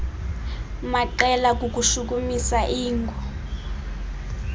maqela kukushukumisa iingo